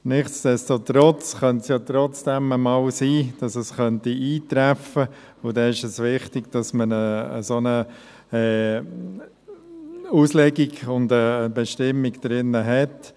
Nichtsdestotrotz könnte es trotzdem einmal sein, dass dies eintreffen könnte, und dann wäre es wichtig, dass man eine solche Auslegung und Bestimmung drin hat.